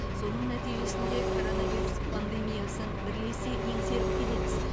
соның нәтижесінде коронавирус пандемиясын бірлесе еңсеріп келеміз